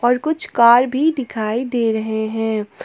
कुछ कार भी दिखाई दे रहे हैं।